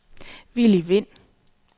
Willy Wind